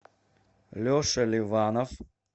леша леванов